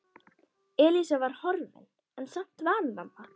Elísa var horfin en samt var hún þarna.